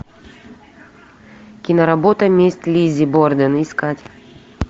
киноработа месть лиззи борден искать